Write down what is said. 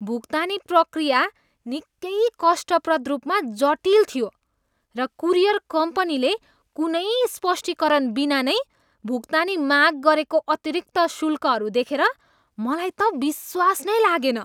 भुक्तानी प्रक्रिया निकै कष्टप्रद रूपमा जटिल थियो, र कुरियर कम्पनीले कुनै स्पष्टीकरण बिना नै भुक्तानी माग गरेको अतिरिक्त शुल्कहरू देखेर मलाई त विश्वास नै लागेन।